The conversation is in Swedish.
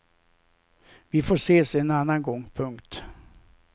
Vi får ses en annan gång. punkt